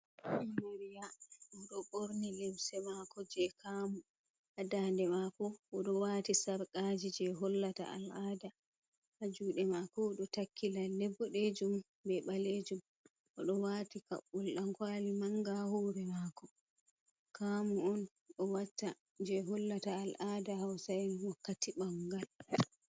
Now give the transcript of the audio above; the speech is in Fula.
Amariya oɗo ɓorni limse mako je kaamu. Ha dande mako, o ɗo wati sarqaji je hollata al'aada. Ha jude mako odo takki lalle bodejum be ɓalejum, oɗo wati kaɓɓol dan kwali manga ha hore mako. Kaamu on o watta je hollata al'ada hausa'en wakkati bangal.